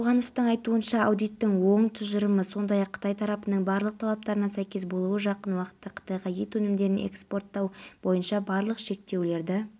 шымкент қалалық білім бөлімі басшылығының мәліметінше маусымның жұлдызында тестілеугеқатысуға мектептен бітіруші өтініш берген бірақ оқушы өз